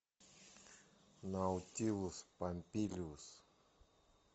наутилус помпилиус